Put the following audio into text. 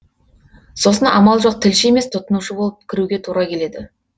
сосын амал жоқ тілші емес тұтынушы болып кіруге тура келеді